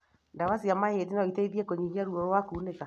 Ndawa cia mahindi noiteithie kũnyihia ruo na kunĩka